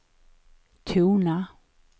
tona